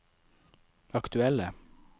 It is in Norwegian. aktuelle